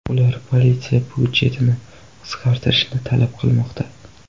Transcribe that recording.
Ular politsiya budjetini qisqartirishni talab qilmoqda.